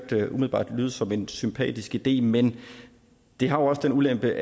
umiddelbart lyde som en sympatisk idé men det har også en ulempe